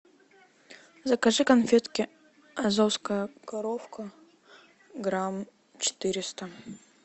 закажи конфетки азовская коровка грамм четыреста